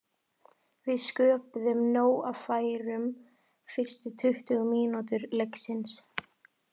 Við sköpuðum nóg af færum fyrstu tuttugu mínútur leiksins.